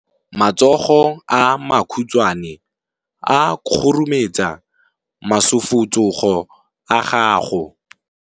Matsogo a makhutshwane a khurumetsa masufutsogo a gago.